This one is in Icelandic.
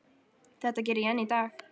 Þetta geri ég enn í dag.